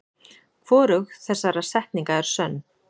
Hvorug þessara setninga er sönn.